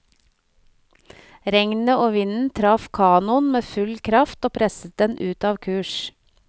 Regnet og vinden traff kanoen med full kraft og presset den ut av kurs.